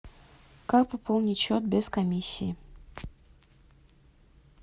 как пополнить счет без комиссии